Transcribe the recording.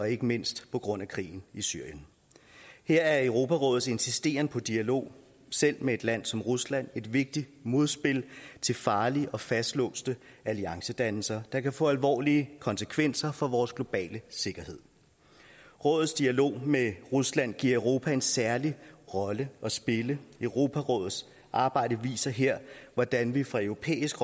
ikke mindst på grund af krigen i syrien her er europarådets insisteren på dialog selv med et land som rusland et vigtigt modspil til farlige og fastlåste alliancedannelser der kan få alvorlige konsekvenser for vores globale sikkerhed rådets dialog med rusland giver europa en særlig rolle at spille europarådets arbejde viser her hvordan vi fra europæisk